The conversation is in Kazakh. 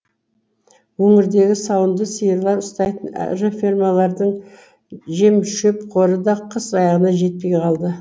өңірдегі сауынды сиырлар ұстайтын ірі фермалардың жем шөп қоры да қыс аяғына жетпей қалды